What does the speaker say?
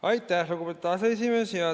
Aitäh, lugupeetud aseesimees!